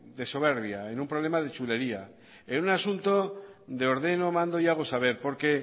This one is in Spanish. de soberbia en un problema de chulería en un asunto de ordeno mando y hago saber porque